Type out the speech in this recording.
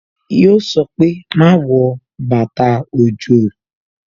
Yo sọ pé "Má wọ bàtà òjò"